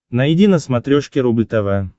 найди на смотрешке рубль тв